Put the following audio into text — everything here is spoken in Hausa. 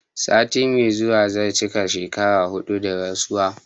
Sati mai zuwa zai cika shekara huɗu da rasuwa